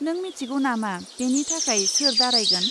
नों मिथिगौ नामा बेनि थाखाय सोर दारायगोन?